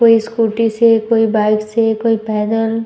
कोई स्कूटी से कोई बाइक से कोई पैदल --